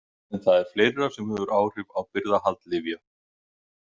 En það er fleira sem hefur áhrif á birgðahald lyfja.